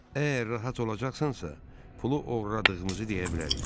Əgər rahat olacaqsansa, pulu oğurladığımızı deyə bilərik.